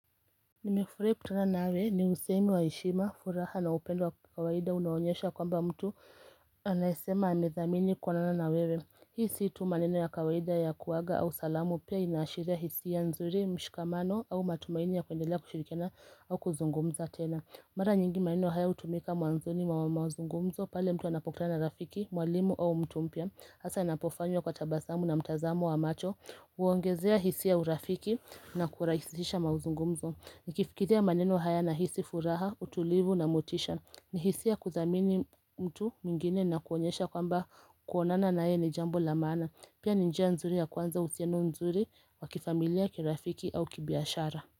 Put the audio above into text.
Nimefurahi kukutana na wewe ni usemi wa heshima, furaha na upendo wa kawaida unaonyesha kwamba mtu anaesema amethamini kuonana na wewe. Hii si tu maneno ya kawaida ya kuaga au salamu pia inaashiria hisia nzuri, mshikamano au matumaini ya kuendelea kushirikiana au kuzungumza tena Mara nyingi maneno haya hutumika mwanzoni mwa mazungumzo pale mtu anapokutana na rafiki, mwalimu au mtu mpya hasa inapofanywa kwa tabasamu na mtazamo wa macho Huongezea hisia urafiki na kurahisisha mazungumzo. Nikifikiria maneno haya nahisi furaha, utulivu na motisha. Ni hisia kuthamini mtu mwingine na kuonyesha kwamba kuonana na yeye ni jambo la maana. Pia ni njia nzuri ya kuanza uhusiano mzuri wa kifamilia, kirafiki au kibiashara.